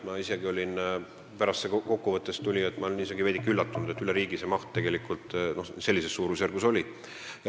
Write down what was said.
Ma olin isegi veidike üllatunud, et see maht oli üle riigi sellises suurusjärgus.